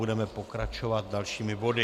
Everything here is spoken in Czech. Budeme pokračovat dalšími body.